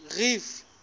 reef